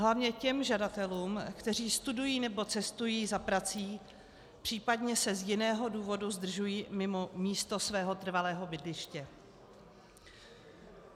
Hlavně těm žadatelům, kteří studují nebo cestují za prací, příp. se z jiného důvodu zdržují mimo místo svého trvalého bydliště.